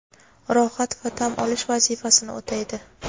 rohat va dam olish vazifasini o‘taydi .